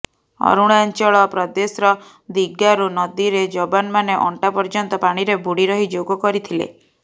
ଅରୁଣାଞ୍ଚଳ ପ୍ରଦେଶର ଦିଗାରୁ ନଦୀରେ ଯବାନମାନେ ଅଣ୍ଟା ପର୍ଯ୍ୟନ୍ତ ପାଣିରେ ବୁଡ଼ିରହି ଯୋଗ କରିଥିଲେ